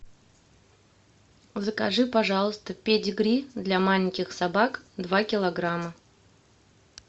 закажи пожалуйста педигри для маленьких собак два килограмма